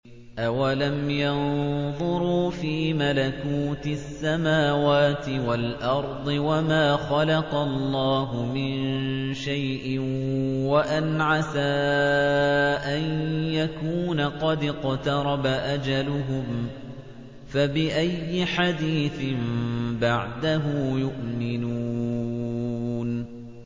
أَوَلَمْ يَنظُرُوا فِي مَلَكُوتِ السَّمَاوَاتِ وَالْأَرْضِ وَمَا خَلَقَ اللَّهُ مِن شَيْءٍ وَأَنْ عَسَىٰ أَن يَكُونَ قَدِ اقْتَرَبَ أَجَلُهُمْ ۖ فَبِأَيِّ حَدِيثٍ بَعْدَهُ يُؤْمِنُونَ